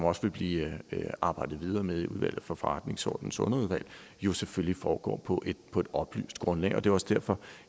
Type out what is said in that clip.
også vil blive arbejdet videre med i udvalget for forretningsordenens underudvalg jo selvfølgelig foregår på på et oplyst grundlag og det er også derfor